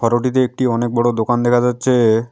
Road -টিতে একটি অনেক বড়ো দোকান দেখা যাচ্ছে।